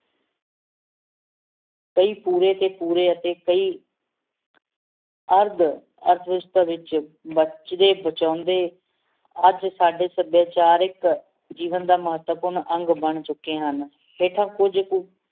ਕਯੀ ਪੂਰੇ ਤੇ ਪੂਰੇ ਅਤੇ ਕਈ ਅਰਧ ਵਿਚ ਬਚਦੇ ਬਚਾਉਂਦੇ ਅਜੇ ਸਾਡੇ ਸੱਭਿਆਚਾਰਕ ਜੀਵਨ ਦਾ ਮਹੱਤਵਪੂਰਨ ਅੰਗ ਬਣ ਚੁਕੇ ਹਨ ਹੇਠਾਂ ਕੁਝ